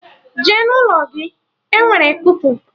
Jee n'ụlọ gị! Enwere kupu.